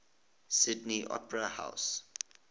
sydney opera house